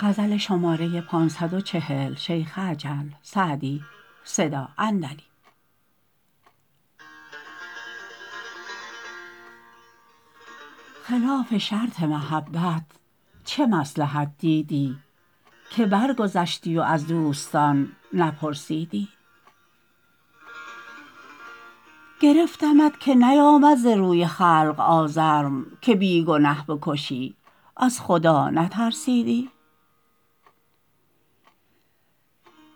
خلاف شرط محبت چه مصلحت دیدی که برگذشتی و از دوستان نپرسیدی گرفتمت که نیآمد ز روی خلق آزرم که بی گنه بکشی از خدا نترسیدی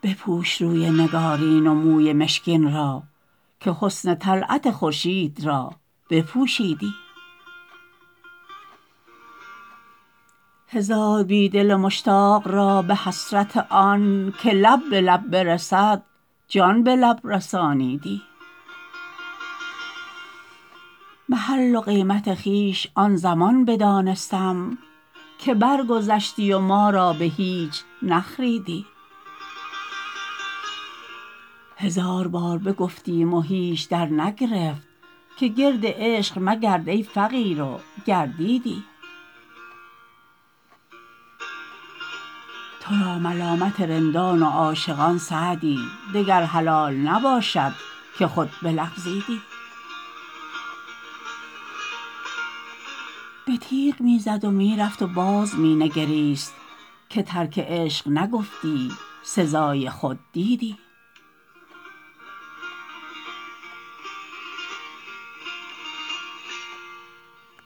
بپوش روی نگارین و موی مشکین را که حسن طلعت خورشید را بپوشیدی هزار بی دل مشتاق را به حسرت آن که لب به لب برسد جان به لب رسانیدی محل و قیمت خویش آن زمان بدانستم که برگذشتی و ما را به هیچ نخریدی هزار بار بگفتیم و هیچ درنگرفت که گرد عشق مگرد ای فقیر و گردیدی تو را ملامت رندان و عاشقان سعدی دگر حلال نباشد که خود بلغزیدی به تیغ می زد و می رفت و باز می نگریست که ترک عشق نگفتی سزای خود دیدی